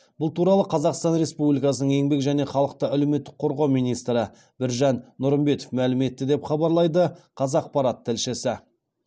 бұл туралы қазақстан республикасының еңбек және халықты әлеуметтік қорғау министрі біржан нұрымбетов мәлім етті деп хабарлайды қазақпарат тілшісі